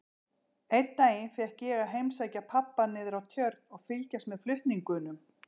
Einn daginn fékk ég að heimsækja pabba niðrá Tjörn og fylgjast með flutningunum.